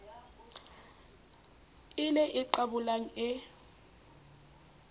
e le e qabolang e